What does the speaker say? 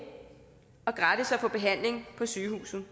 og gratis at få behandling på sygehuset